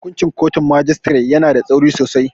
Hukuncin kotun majistare yana da tsauri sosai.